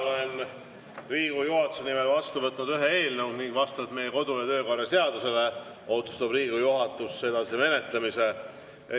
Olen Riigikogu juhatuse nimel vastu võtnud ühe eelnõu ning vastavalt meie kodu‑ ja töökorra seadusele otsustab Riigikogu juhatus selle edasise menetlemise.